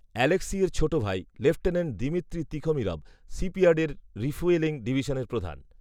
আলেক্সিয়ের ছোট ভাই lieutenant Dmitri Tikhomirov শিপইয়ার্ডের রিফুয়েলিং ডিভিশনের প্রধান